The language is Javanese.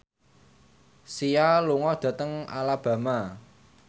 Sia lunga dhateng Alabama